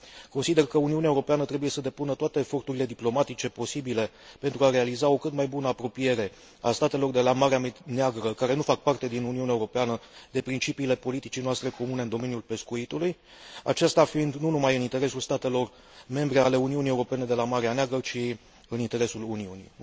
Consider că Uniunea Europeană trebuie să depună toate eforturile diplomatice posibile pentru a realiza o cât mai bună apropiere a statelor de la Marea Neagră care nu fac parte din Uniunea Europeană de principiile politicii noastre comune în domeniul pescuitului, aceasta fiind nu numai în interesul statelor membre ale Uniunii Europene de la Marea Neagră, ci și în interesul Uniunii.